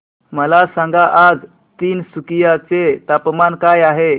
मला सांगा आज तिनसुकिया चे तापमान काय आहे